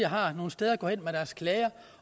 har nogle steder at gå hen med deres klager